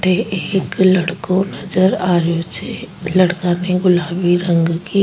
अठे एक लड़को नजर आ रियो छे लड़का ने गुलाबी रंग की।